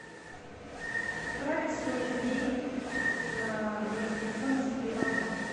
отправить сто рублей на номер телефона сергея иванова